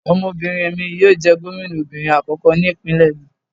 Ọmọbinrin mi yoo jẹ gomina obinrin akọkọ ni ipinlẹ mi